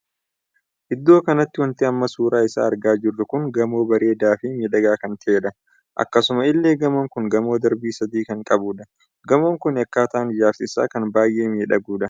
Iddoo kanatti wanti amma suuraa isaa argaa jirru kun gamoo bareedaa fi miidhagaa kan taheedha. akkasuma illee gamoon kun gamoo darbii sadii kan qabudha. gamoon kuni akkaataan ijaarsa isaa kan baay'ee miidhagudha.